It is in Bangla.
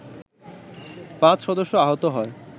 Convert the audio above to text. ৫ সদস্য আহত হয়